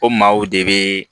O maaw de bee